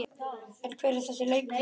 En hver er þessi leikmaður?